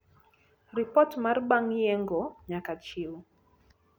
ripot mar bang yengo nyaka chiw